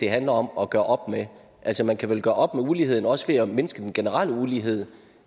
handler om at gøre op med altså man kan vel gøre op med uligheden også ved at mindske den generelle ulighed